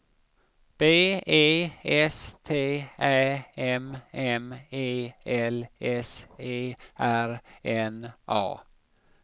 B E S T Ä M M E L S E R N A